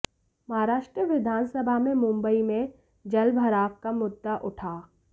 महाराष्ट्र विधानसभा में मुंबई में जलभराव का मुद्दा उठा